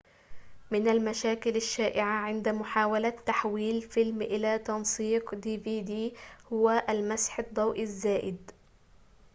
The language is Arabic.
من المشاكل الشائعة عند محاولة تحويل فيلم إلى تنسيق dvd هو المسح الضوئي الزائد